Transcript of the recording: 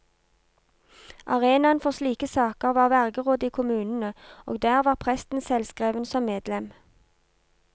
Arenaen for slike saker var vergerådet i kommunene, og der var presten selvskreven som medlem.